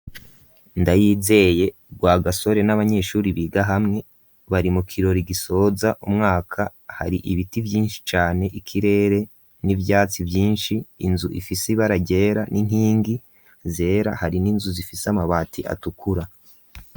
Ndayizeye rwa gasore n'abanyeshuri biga hamwe bari mu kiroro igisoza umwaka hari ibiti vyinshi cane ikirere n'ivyatsi vyinshi inzu ifise ibaragera n'intingi zera hari n'inzu zifise amabati atukura.